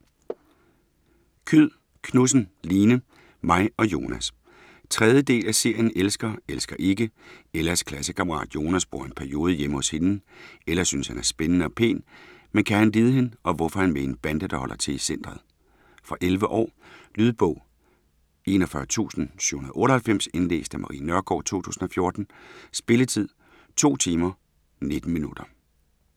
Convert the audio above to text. Kyed Knudsen, Line: Mig og Jonas 3. del af serien Elsker, elsker ikke. Ellas klassekammerat Jonas bor i en periode hjemme hos hende. Ella synes han er spændende og pæn, men kan han lide hende og hvorfor er han med i en bande, der holder til i centret. Fra 11 år. Lydbog 41798 Indlæst af Marie Nørgaard, 2014. Spilletid: 2 timer, 19 minutter.